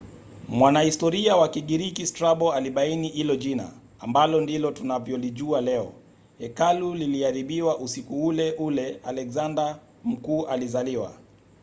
mwanahistoria wa kigiriki strabo alibaini hilo jina ambalo ndilo tunavyolijua leo. hekalu liliharibiwa usiku ule ule alexander mkuu alizaliwa